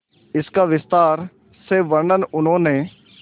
इसका विस्तार से वर्णन उन्होंने